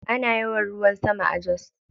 Ana yawan ruwan sama a Jos.